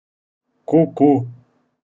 ку-ку